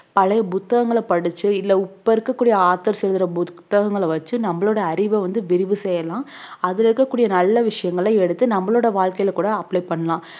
பழைய புத்தகங்களை படிச்சு இல்ல இப்ப இருக்கக்கூடிய authors எழுதுற புத்தகங்களை வெச்சு நம்மளோட அறிவை வந்து விரிவு செய்யலாம் அதுல இருக்கக்கூடிய நல்ல விஷயங்களை எடுத்து நம்மளோட வாழ்க்கையில கூட apply பண்ணலாம்